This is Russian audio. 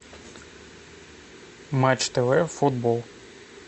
матч тв футбол